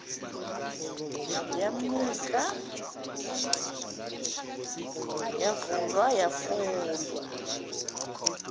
wamnika yavulwa yafundwa